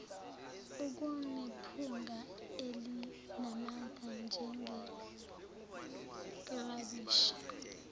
okunephunga elinamandla njengeklabishi